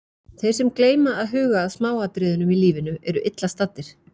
Þeir sem gleyma að huga að smáatriðunum í lífinu, eru illa staddir.